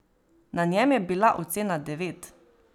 Na njem je bila ocena devet.